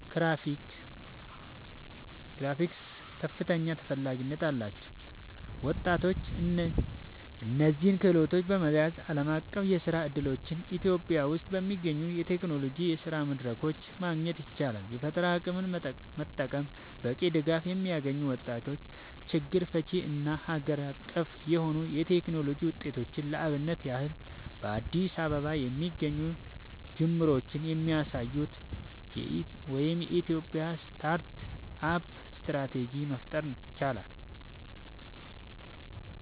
ግራፊክስ) ከፍተኛ ተፈላጊነት አላቸው። ወጣቶች እነዚህን ክህሎቶች በመያዝ ዓለም አቀፍ የስራ እድሎችን [ኢትዮጵያ ውስጥ በሚገኙ የቴክኖሎጂ የስራ መድረኮች] ማግኘት ይችላሉ። የፈጠራ አቅምን መጠቀም በቂ ድጋፍ የሚያገኙ ወጣቶች ችግር ፈቺ እና አገር በቀል የሆኑ የቴክኖሎጂ ውጤቶችን (ለአብነት ያህል በአዲስ አበባ የሚገኙ ጅምሮች የሚያሳዩትን [የኢትዮጵያ ስታርት አፕ ስትራቴጂ]) መፍጠር ይችላሉ።